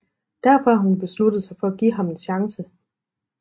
Derfor har hun besluttet sig for at give ham en chance